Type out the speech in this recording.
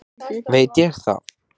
veit ég það?